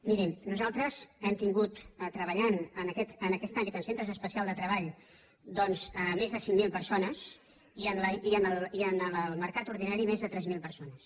mirin nosaltres hem tingut treballant en aquest àmbit en centres especials de treball doncs més de cinc mil persones i en el mercat ordinari més de tres mil persones